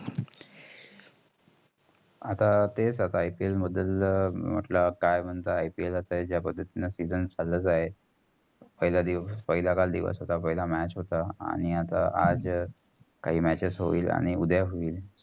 आत्ता तेच IPL मधील म्हटलं काय मनता? IPL जा पद्धतीनं season चालू आहे. पाहिला काल दिवस होता. पहिला match होता. आणि आता आज काही matches होईल उद्या होईल.